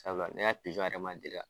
Sabula ne ya pizɔn yɛrɛ ma deli ka